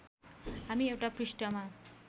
हामी एउटा पृष्ठमा